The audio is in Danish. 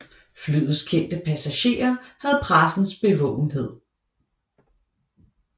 Flyets kendte passagerer havde pressens bevågenhed